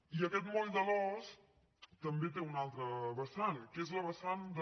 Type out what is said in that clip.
i aquest moll de l’os també té una altra vessant que és la vessant de